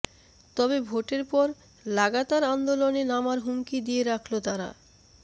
তবে ভোটের পর লাগাতার আন্দোলনে নামার হুমকি দিয়ে রাখল তারা